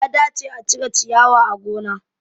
Ya dace a cire shiyawa a gona